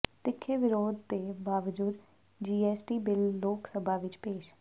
ਤਿੱਖੇ ਵਿਰੋਧ ਦੇ ਬਾਵਜੂਦ ਜੀਐਸਟੀ ਬਿੱਲ ਲੋਕ ਸਭਾ ਵਿੱਚ ਪੇਸ਼